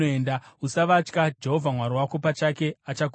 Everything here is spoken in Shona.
Usavatya; Jehovha Mwari wako pachake achakurwira.”